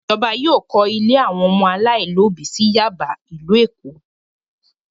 Ìjọba yóò kọ́ ilé àwọn ọmọ aláìlóòbí sí Yáàbá, ìlú Èkó!